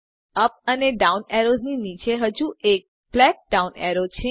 UP અને down arrows ની નીચે હજુ એક બ્લેક ડાઉન એરો છે